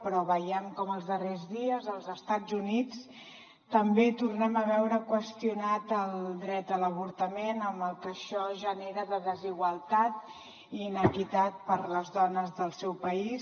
però veiem com els darrers dies als estats units també tornem a veure qüestionat el dret a l’avortament amb el que això genera de desigualtat i inequitat per a les dones del seu país